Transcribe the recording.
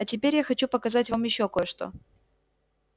а теперь я хочу показать вам ещё кое-что